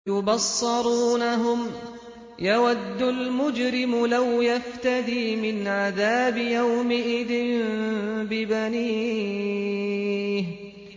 يُبَصَّرُونَهُمْ ۚ يَوَدُّ الْمُجْرِمُ لَوْ يَفْتَدِي مِنْ عَذَابِ يَوْمِئِذٍ بِبَنِيهِ